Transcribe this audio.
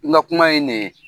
N ka kuma ye nin ye.